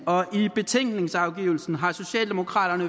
og i betænkningsafgivelsen har socialdemokraterne